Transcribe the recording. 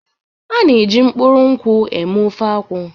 A na-eji mkpụrụ nkwụ eme ofe akwu.